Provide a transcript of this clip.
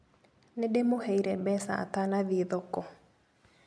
Nĩndĩmũheire mbeca atanathiĩ thoko.